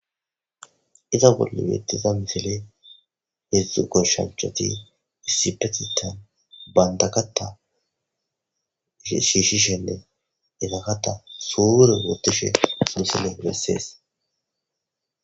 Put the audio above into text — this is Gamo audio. Iza bolla betidda misileyi hedzu goshshanichati issipetethani banitta katha shishisheni sure wothidayisa misileyi bessesi